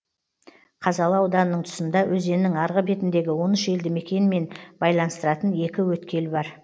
қазалы ауданының тұсында өзеннің арғы бетіндегі он үш елді мекенмен байланыстыратын екі өткел бар